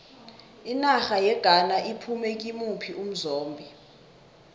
inarha yeghana iphume kimuphi umzombe